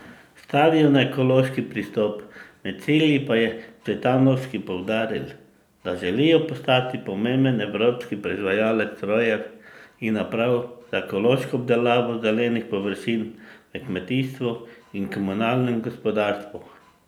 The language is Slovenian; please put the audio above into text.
Stavijo na ekološki pristop, med cilji pa je Cvetanovski poudaril, da želijo postati pomemben evropski proizvajalec strojev in naprav za ekološko obdelavo zelenih površin v kmetijstvu in komunalnem gospodarstvu.